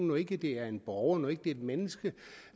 når ikke det er en borger et menneske